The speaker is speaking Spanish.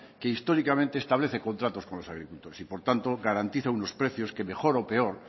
que históricamente establece contratos con los agricultores y por tanto garantiza unos precios que mejor o peor